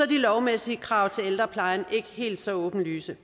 de lovmæssige krav til ældreplejen ikke helt så åbenlyse